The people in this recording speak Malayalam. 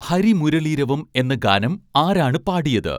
ഹരിമുരളീരവം എന്ന ഗാനം ആരാണ് പാടിയത്